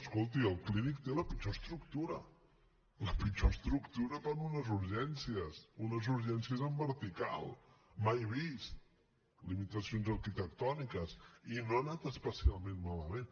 escolti el clínic té la pitjor estructura la pitjor estructura per a unes urgències unes urgències en vertical mai vist limitacions arquitectòniques i no ha anat especialment malament